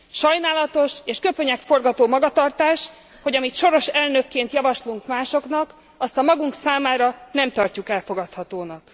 Sajnálatos és köpönyegforgató magatartás, hogy amit soros elnökként javaslunk másoknak, azt a magunk számára nem tartjuk elfogadhatónak.